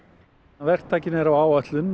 verktakinn er á áætlun